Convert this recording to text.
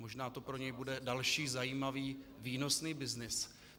Možná to pro něj bude další zajímavý výnosný byznys.